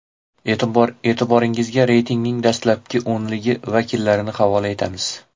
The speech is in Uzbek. E’tiboringizga reytingning dastlabki o‘nligi vakillarini havola etamiz.